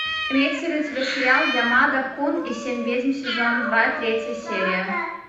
имеется ли у тебя сериал ямада кун и семь ведьм сезон два третья серия